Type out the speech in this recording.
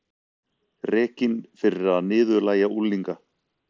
Rekinn fyrir að niðurlægja unglinga